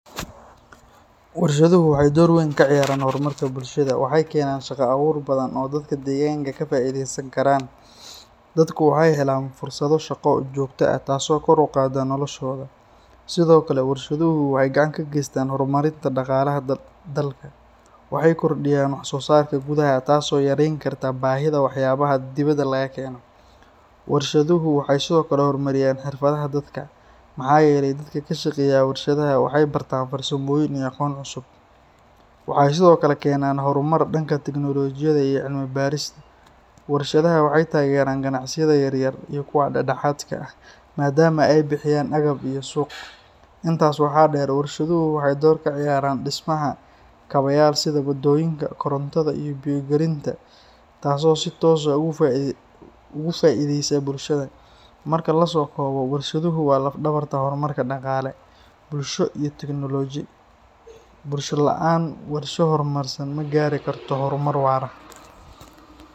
Warshaduhu waxay door weyn ka ciyaaraan horumarka bulshada. Waxay keenaan shaqo abuur badan oo dadka deegaanka ka faa’iideysan karaan. Dadku waxay helaan fursado shaqo oo joogto ah taas oo kor u qaadda noloshooda. Sidoo kale warshaduhu waxay gacan ka geystaan horumarinta dhaqaalaha dalka. Waxay kordhiyaan wax soo saarka gudaha taas oo yareyn karta baahida waxyaabaha dibadda laga keeno. Warshaduhu waxay sidoo kale horumariyaan xirfadaha dadka, maxaa yeelay dadka ka shaqeeya warshadaha waxay bartaan farsamooyin iyo aqoon cusub. Waxay sidoo kale keenaan horumar dhanka tiknoolajiyada iyo cilmi-baarista. Warshadaha waxay taageeraan ganacsiyada yaryar iyo kuwa dhexdhexaadka ah maadaama ay bixiyaan agab iyo suuq. Intaas waxaa dheer, warshaduhu waxay door ka ciyaaraan dhismaha kaabayaal sida wadooyinka, korontada, iyo biyo gelinta taasoo si toos ah ugu faa’iideysa bulshada. Marka la soo koobo, warshaduhu waa laf-dhabarta horumarka dhaqaale, bulsho iyo tiknoolaji. Bulsho la’aan warshado horumarsan ma gaari karto horumar waara.